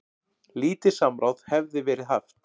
Lítið samráð hefði verið haft.